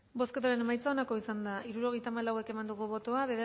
bozketaren emaitza onako izan da hirurogeita hamabost eman dugu bozka